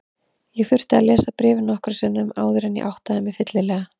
Ég þurfti að lesa bréfið nokkrum sinnum áður en ég áttaði mig fyllilega.